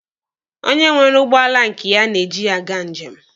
Onye nwere ụgbọala nke ya na-eji ya aga njem.